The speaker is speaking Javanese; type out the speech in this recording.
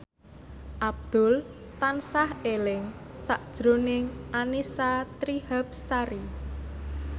Abdul tansah eling sakjroning Annisa Trihapsari